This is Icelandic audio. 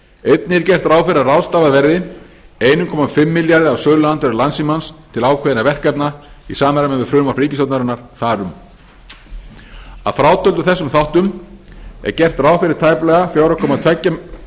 einnig er gert ráð fyrir að ráðstafað verði eins og hálfum milljarði af söluandvirði landssímans til ákveðinna verkefna í samræmi við frumvarp ríkisstjórnarinnar þar um að frátöldum þessum þáttum er gert ráð fyrir tæplega fjögur komma tvo